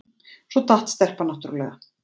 Svo datt stelpan náttúrlega.